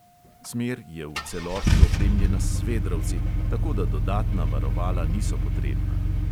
Smer je v celoti opremljena s svedrovci, tako da dodatna varovala niso potrebna.